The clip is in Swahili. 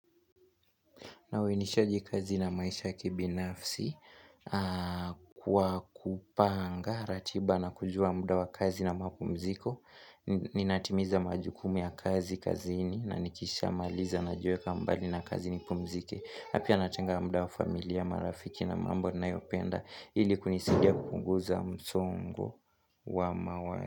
Nawe nishaji kazi na maisha kibinafsi kwa kupanga ratiba na kujua muda wa kazi na mapumziko Ninatimiza majukumu ya kazi kazini na nikisha maliza najiweka mbali na kazi nipumzike. Na pia natenga muda wa familia, marafiki na mambo ninayopenda ili kunisidia kupunguza msongo wa mawazo.